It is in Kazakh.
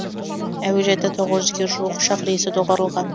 әуежайда тоғыз жүзге жуық ұшақ рейсі доғарылған